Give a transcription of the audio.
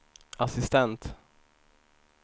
assistent